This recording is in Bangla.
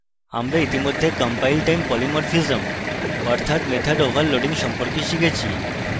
আমরা ইতিমধ্যে compiletime polymorphism অর্থাৎ method overloading সম্পর্কে শিখেছি